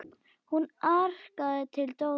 Hún arkaði til Dóru.